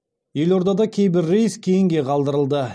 елордада кейбір рейс кейінге қалдырылды